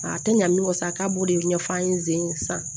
A tɛ ɲa min kɔ sa k'a b'o de ɲɛfɔ an ye zen sa